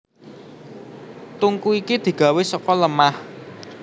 Tungku iki digawé saka lemah